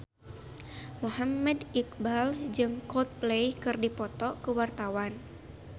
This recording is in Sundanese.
Muhammad Iqbal jeung Coldplay keur dipoto ku wartawan